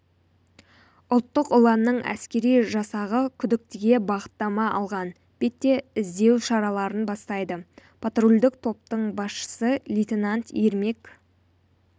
ұлттық ұланның әскери жасағы күдіктіге бағыттама алған бетте іздеу шараларын бастайды патрульдік топтың басшысы лейтенант ермек